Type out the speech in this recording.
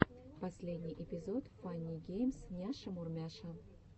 последний эпизод фанни геймс няша мурмяша